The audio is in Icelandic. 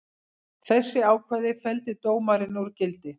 Þessi ákvæði felldi dómarinn úr gildi